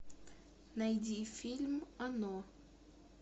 найди фильм оно